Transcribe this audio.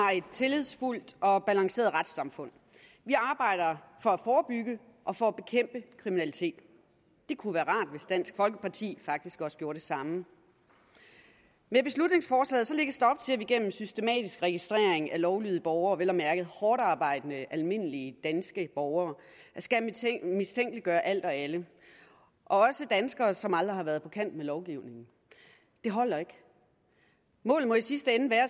har et tillidsfuldt og balanceret retssamfund vi arbejder for at forebygge og for at bekæmpe kriminalitet det kunne være rart hvis dansk folkeparti faktisk også gjorde det samme med beslutningsforslaget lægges der til at vi gennem systematisk registrering af lovlydige borgere vel at mærke hårdtarbejdende almindelige danske borgere skal mistænkeliggøre alt og alle også danskere som aldrig har været på kant med lovgivningen det holder ikke målet må i sidste ende være